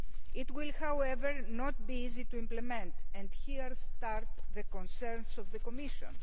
It will, however, not be easy to implement and here begin the concerns of the Commission.